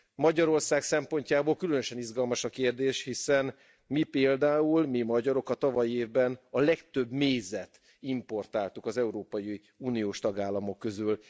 Magyarország szempontjából különösen izgalmas a kérdés, hiszen mi például, mi magyarok, a tavalyi évben a legtöbb mézet importáltuk az európai uniós tagállamok közül.